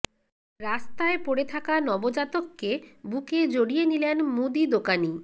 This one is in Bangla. রাস্তায় পড়ে থাকা নবজাতককে বুকে জড়িয়ে নিলেন মুদি দোকানি